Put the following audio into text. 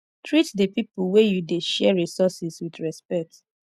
treat di pipo wey you dey share resources with respect